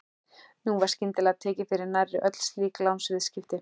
Nú var skyndilega tekið fyrir nærri öll slík lánsviðskipti.